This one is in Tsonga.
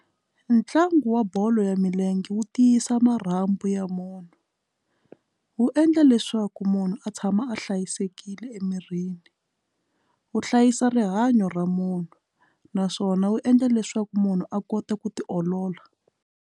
Ntlangu wa bolo ya milenge wu tiyisa marhambu ya munhu wu endla leswaku munhu a tshama a hlayisekile emirini wu hlayisa rihanyo ra munhu naswona wu endla leswaku munhu a kota ku ti olola.